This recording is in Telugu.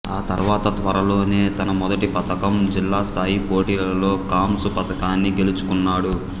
ఆ తర్వాత త్వరలోనే తన మొదటి పతకం జిల్లాస్థాయి పోటీలలో కాంస్య పతకాన్ని గెలుచుకున్నాడు